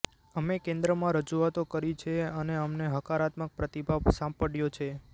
અમે કેન્દ્રમાં રજૂઆતો કરી છે અને અમને હકારાત્મક પ્રતિભાવ સાંપડયો છે